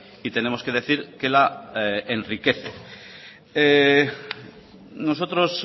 y tenemos que decir que la enriquece nosotros